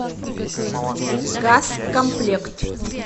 газкомплект